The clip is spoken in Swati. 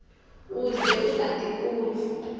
uze utati kutsi